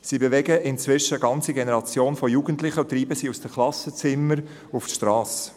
Sie bewegen inzwischen eine ganze Generation von Jugendlichen und treiben sie aus den Klassenzimmern auf die Strasse.